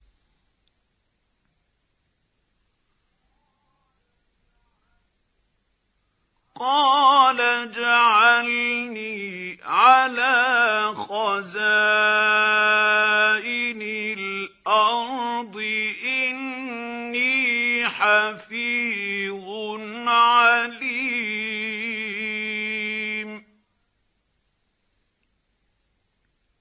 قَالَ اجْعَلْنِي عَلَىٰ خَزَائِنِ الْأَرْضِ ۖ إِنِّي حَفِيظٌ عَلِيمٌ